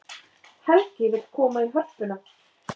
Helgi vill koma í Hörpuna